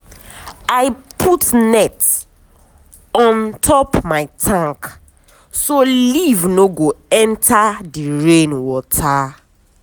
i put net on top my tank so leaf no go enter the rain water.